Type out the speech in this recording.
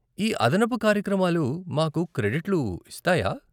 ఈ అదనపు కార్యక్రమాలు మాకు క్రెడిట్లు ఇస్తాయా?